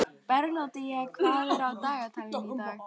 Bernódía, hvað er á dagatalinu í dag?